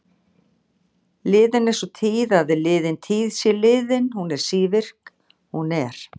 Liðin er sú tíð að liðin tíð sé liðin, hún er sívirk, hún er.